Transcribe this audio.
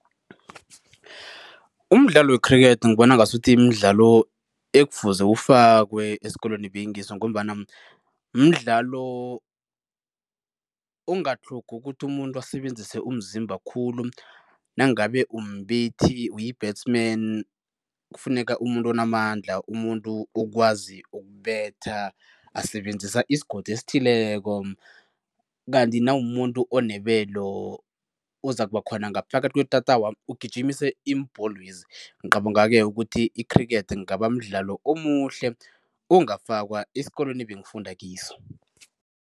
Umdlalo wekhrikhethi ngibona ngasuthi mdlalo ekufuze ufakwe esikolweni ebengikiso ngombana mdlalo ongatlhogi ukuthi umuntu asebenzise umzimba khulu nangabe umbethi uyi-batsman kufuneka umuntu onamandla, umuntu okwazi ukubetha asebenzisa isigodo esithileko. Kanti nawumumuntu onebelo, ozakuba khona ngaphakathi kwetatawa ugijimise iimbholwezi, ngicabanga-ke ukuthi i-cricket kungaba mdlalo omuhle ongafakwa esikolweni ebengifunda kiso.